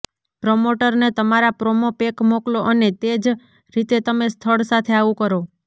પ્રમોટરને તમારા promo pack મોકલો અને તે જ રીતે તમે સ્થળ સાથે આવું કરો